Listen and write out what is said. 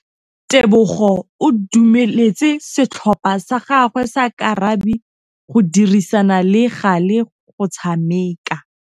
Tebogô o dumeletse setlhopha sa gagwe sa rakabi go dirisa le galê go tshameka.